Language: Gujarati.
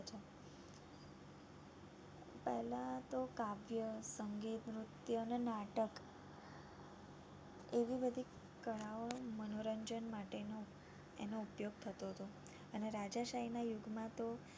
પેલા તો કાવ્ય, નૃત્ય અને નાટક એવી બધી કળાઓ મનોરંજન માટેનો એનો ઉપયોગ થતો હતો અને રાજશાહી ના યુગ માં તો